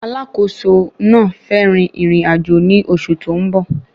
Alákòóso náà fẹ́ rin ìrìn-àjò ní oṣù tó ń bọ̀.